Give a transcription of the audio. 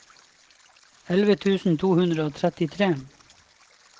elleve tusen to hundre og trettitre